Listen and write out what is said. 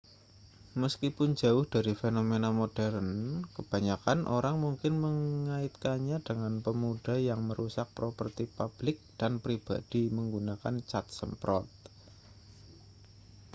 meskipun jauh dari fenomena modern kebanyakan orang mungkin mengaitkannya dengan pemuda yang merusak properti publik dan pribadi menggunakan cat semprot